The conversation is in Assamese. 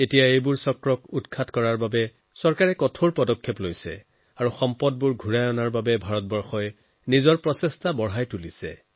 এতিয়া ইয়াৰ ওপৰত জোৰ দিয়াৰ লগতে এই সামগ্ৰীসমূহ ঘূৰাই অনাৰ বাবে ভাৰতে প্ৰচেষ্টা অব্যাহত ৰাখিছে